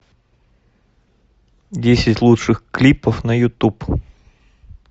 десять лучших клипов на ютуб